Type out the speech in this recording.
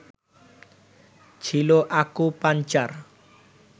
ছিলো আকুপাংচার